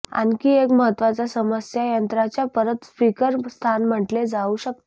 आणखी एक महत्त्वाचा समस्या यंत्राच्या परत स्पीकर स्थान म्हटले जाऊ शकते